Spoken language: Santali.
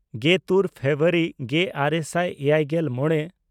ᱜᱮᱛᱩᱨ ᱯᱷᱮᱵᱨᱩᱣᱟᱨᱤ ᱜᱮᱼᱟᱨᱮ ᱥᱟᱭ ᱮᱭᱟᱭᱜᱮᱞ ᱢᱚᱬᱮ